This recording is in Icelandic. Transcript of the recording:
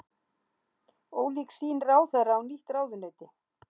Ólík sýn ráðherra á nýtt ráðuneyti